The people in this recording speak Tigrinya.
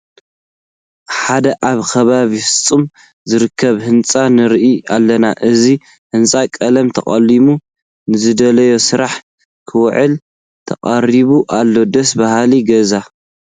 ሓደ ኣብ ከባቢ ፍፃመ ዝርከብ ህንፃ ንርኢ ኣለና፡፡ እዚ ህንፃ ቀለም ተቐሊሙ ንዝድለ ስራሕ ክውዕል ተቓሪቡ ኣሎ፡፡ ደስ በሃሊ ገዛ፡፡